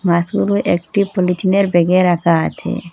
মাছগুলো একটি পলিথিনের ব্যাগে রাখা আছে।